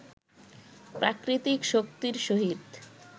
প্রাকৃতিক শক্তির সহিত